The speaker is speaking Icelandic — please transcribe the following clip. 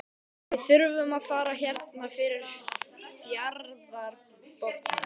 Við þurfum að fara hérna fyrir fjarðarbotninn.